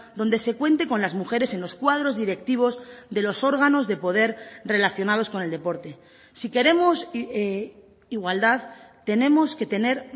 donde se cuente con las mujeres en los cuadros directivos de los órganos de poder relacionados con el deporte si queremos igualdad tenemos que tener